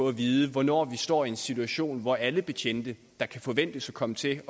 at vide hvornår vi står i en situation hvor alle betjente der kan forventes at komme til